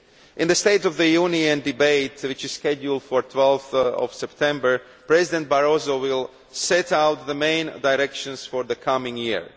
In the State of the Union debate, which is scheduled for 12 September, President Barroso will set out the main directions for the coming year.